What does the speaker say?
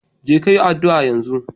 Je ka yi addu'a yanzu!